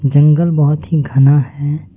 जंगल बहोत ही घना है।